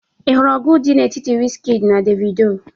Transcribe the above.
ị hụrụ ọgụ dị n'etiti wizkid na Davido?